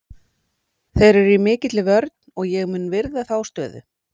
Þeir eru í mikilli vörn og ég mun virða þá stöðu.